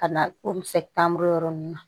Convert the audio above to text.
Ka na o misɛ tan buru yɔrɔ nunnu na